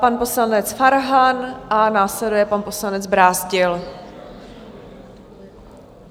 Pan poslanec Farhan a následuje pan poslanec Brázdil.